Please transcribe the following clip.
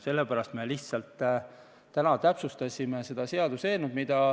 Sellepärast me lihtsalt täpsustasime seda seaduseelnõu.